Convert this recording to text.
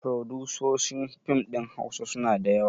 Furodusoshin fim ɗin hausa suna da yawa